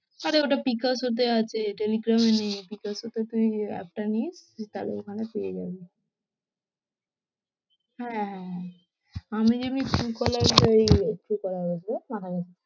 আরে ওটা পিকাজো তে আছে, টেলিগ্রামে নেই, পিকজোতে তুই app টা নিয়ে তুই তাহলে ওখানে পেয়ে যাবি, হ্যাঁ, আমি যেমনি Truecaller এই Truecaller বলছি ধ্যাৎ মাথা গেছে।